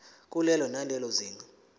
kulelo nalelo zinga